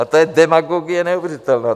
A to je demagogie neuvěřitelná!